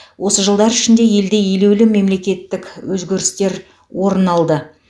осы жылдар ішінде елде елеулі мемлекеттік өзгерістер орын алды